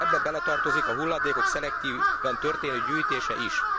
Ebbe beletartozik a hulladékok szelektíven történő gyűjtése is.